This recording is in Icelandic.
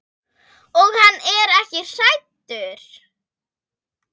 Og hann er ekki hættur.